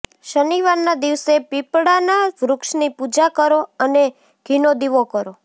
શનિવારના દિવસે પીપળાના વૃક્ષની પૂજા કરો અને ઘીનો દીવો કરો